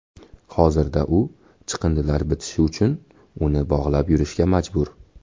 Hozirda u chandiqlar bitishi uchun uni bog‘lab yurishga majbur.